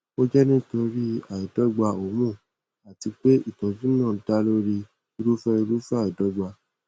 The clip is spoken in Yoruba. ó jẹ nítorí àìdọgba hormone àti pé ìtọjú náà dá lórí irúfẹ irúfẹ àìdọgba